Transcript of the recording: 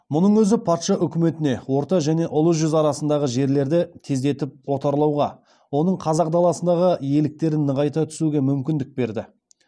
мұның өзі патша өкіметіне орта және ұлы жүз арасындағы жерлерді тездетіп отарлауға оның қазақ даласындағы иеліктерін нығайта түсуге мүмкіндік берді